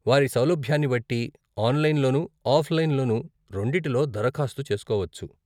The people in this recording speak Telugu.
వారి సౌలభ్యాన్ని బట్టి ఆన్లైన్లోను, ఆఫ్లైన్లోను, రెండిటిలో దరఖాస్తు చేసుకోవచ్చు.